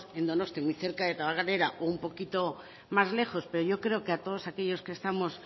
en donostia muy cerca de tabakalera o un poquito más lejos pero yo creo que a todos aquellos que estamos